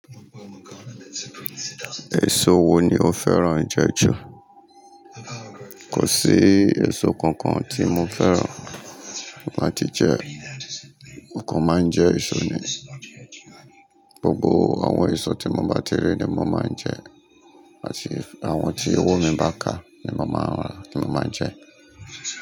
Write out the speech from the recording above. Èso wo ni o féràn jẹ ju? Kò sí èso kankan tí mo féràn láti jẹ, mo kan máa ń jẹ èso ni, gbogbo àwọn èso tí mo bá ti rí ni mo máa ń jẹ, àti àwọn tí owó mi bá ká ni mo máa ń rà ti mo máa n jẹ.